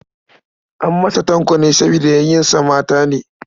An masa Tanko ne saboda yayunsa mata ne.